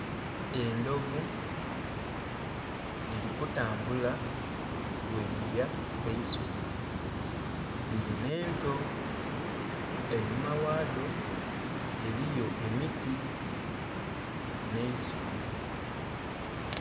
Endhovu dhili kutambula bwe dhilya eisubi dhili nhe ento, einhuma ghadho eriyo emiti nhe'isubi.